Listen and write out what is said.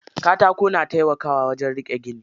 Katako na taimakawa wajen riƙe gini.